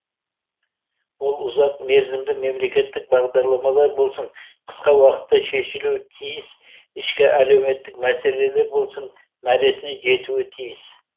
ол ұзақ мерзімді мемлекеттік бағдарламалар болсын қысқа уақытта шешілуі тиіс ішкі әлеуметтік мәселелер болсын мәресіне жетуі тиіс